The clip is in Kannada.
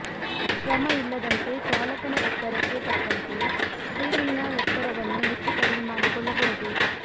ಶ್ರಮ ಇಲ್ಲದಂತೆ ಚಾಲಕನ ಎತ್ತರಕ್ಕೆ ತಕ್ಕಂತೆ ಸ್ಟ್ರೀರಿಂಗ್ನ ಎತ್ತರವನ್ನು ಹೆಚ್ಚು ಕಡಿಮೆ ಮಾಡಿಕೊಳ್ಳಬಹುದು